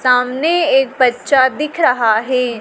सामने एक बच्चा दिख रहा है।